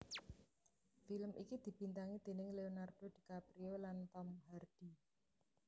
Film iki dibintangi déning Leonardo DiCaprio lan Tom Hardy